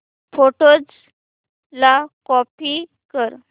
photos ला copy कर